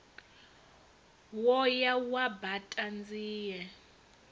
wo ya wa baṱa nzie